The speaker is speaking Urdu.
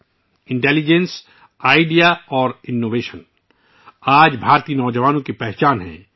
'' ذہانت، تخیل اور اختراع'' آج بھارتی نوجوانوں کی پہچان ہے